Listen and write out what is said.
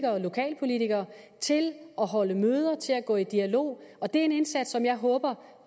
og lokalpolitikere til at holde møder til at gå i dialog og det er en indsats som jeg håber